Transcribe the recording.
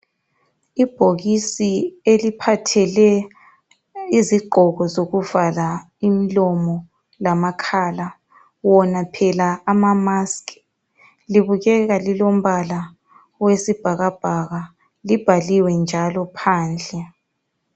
Ibhokisi eliphathele izigqoko zokuvala imlomo lamakhala ,wona phela ama mask .Libukeka lilombala owesibhakabhaka, libhaliwe njalo phandle.